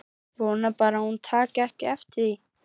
Vona bara að hún taki ekki eftir því.